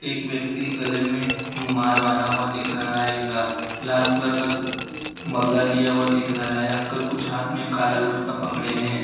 एक व्यक्ति के गले में रुमाल बांधा हुआ दिख रहा है इनका लाल कलर का मग्गा लिया हुआ दिख रहा है अंकल कुछ हाथ में काला कलर का पकड़े हैं।